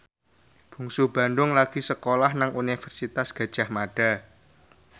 Bungsu Bandung lagi sekolah nang Universitas Gadjah Mada